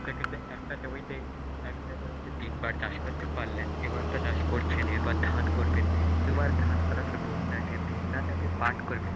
আপনাকে তো একটা জমিতে, একটা জমিতে তিনবার চাষ করতে পারলেন এবার তো চাষ করছেন, এরপর ধান করবেন, দুবার ধান করার পরে বন্যা আসবে বন্যাতে আপনি পাট করবেন.